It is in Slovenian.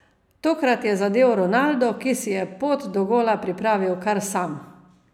Tokrat je zadel Ronaldo, ki si je pot do gola pripravil kar sam.